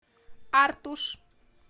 артуш